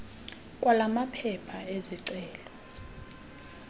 kwala maphepha ezicelo